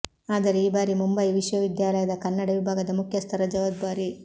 ಆದರೆ ಈ ಬಾರಿ ಮುಂಬೈ ವಿಶ್ವವಿದ್ಯಾಲಯದ ಕನ್ನಡ ವಿಭಾಗದ ಮುಖ್ಯಸ್ಥರ ಜವಾಬ್ದಾರಿ